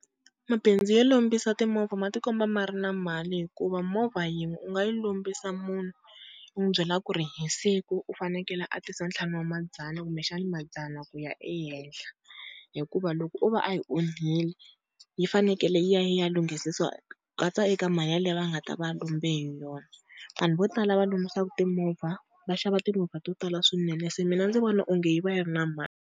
Mabindzu yo lombisa timovha ma ti komba ma ri na mali, hikuva movha yin'we u nga yi lombisa munhu u n'wi byela ku ri hi siku u fanekele a tisa ntlhanu wa madzana kumbexana madzana ku ya ehenhla. Hikuva loko o va a yi onhile yi fanekele yi ya yi ya lunghisisiwa ku katsa eka mali yaleyo a nga ta va a lombe hi yona. Vanhu vo tala va lombisaka timovha va xava timovha to tala swinene se mina ndzi vona onge yi va yi ri na mali.